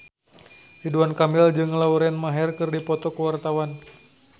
Ridwan Kamil jeung Lauren Maher keur dipoto ku wartawan